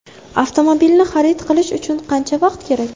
Avtomobilni xarid qilish uchun qancha vaqt kerak?